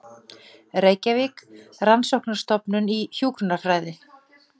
Reykjavík: Rannsóknarstofnun í hjúkrunarfræði.